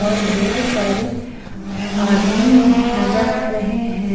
और ढेर सारे आदमी नजर आ रहे हैं।